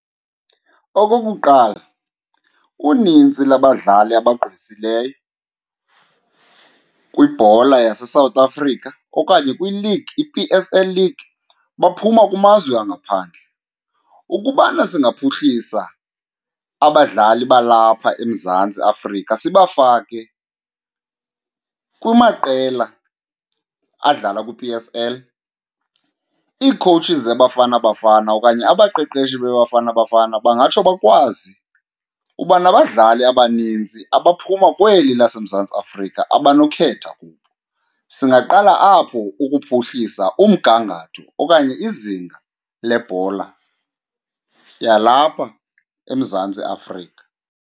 Okokuqala, unintsi labadlali abagqwesileyo kwibhola yaseSouth Africa okanye kwiligi, i-P_S_L league baphuma kumazwe angaphandle. Ukubana singaphuhlisa abadlali balapha eMzantsi Afrika sibafake kumaqela adlala kwi-P_S_L, ii-coaches zeBafana Bafana okanye abaqeqeshi beBafana Bafana bangatsho bakwazi uba nabadlali abaninzi abaphuma kweli laseMzantsi Afrika abanokhetha kubo. Singaqala apho ukuphuhlisa umgangatho okanye izinga lebhola yalapha eMzantsi Afrika.